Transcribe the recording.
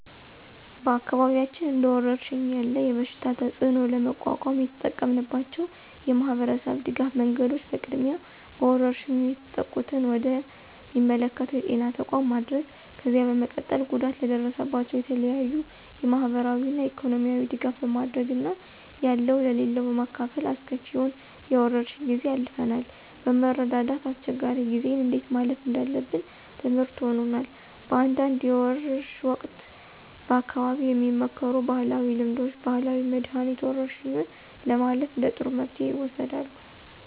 በአካባቢያችን እንደወረርሽኝ ያለ የበሽታ ተፅእኖ ለመቋቋም የተጠቀምንባቸው የማህበረሰብ ድጋፍ መንገዶች በቅድሚያ በወረርሽኙ የተጠቁትን ወደ ሚመለከተው የጤና ተቋም ማድረስ፣ ከዚያ በመቀጠል ጉዳት ለደረሰባቸው የተለያዩ የማህበራዊና ኢኮኖሚያዊ ድጋፍ በማድረግ እና ያለው ለሌለው በማካፈል አስከፊውን የወረርሽ ጊዜ አልፈናል። በመረዳዳት አስቸጋሪ ጊዜን እንዴት ማለፍ እንዳለብን ትምርህት ሆኖናል። በአንዳንድ የወርሽ ወቅት በአካባቢው የሚመከሩ ባህላዊ ልምዶች፣ ባህላዊ መድኃኒት፣ ወረርሽኙን ለማለፍ እንደ ጥሩ መፍትሄ ይወሰዳሉ።